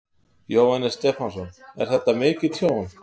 Jóhannes Stefánsson: Er þetta mikið tjón?